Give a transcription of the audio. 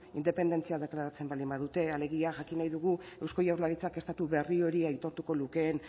independentzia deklaratzen baldin badute alegia jakin nahi dugu eusko jaurlaritzak estatu berri hori aitortu lukeen